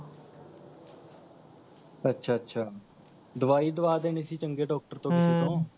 ਅੱਛਾ ਅੱਛਾ ਦਵਾਈ ਦਵਾ ਦੇਣੀ ਸੀ ਚੰਗੇ Doctor ਤੋਂ ਕਿਸੇ ਤੋਂ